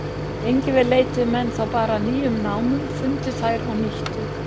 Lengi vel leituðu menn þá bara að nýjum námum, fundu þær og nýttu.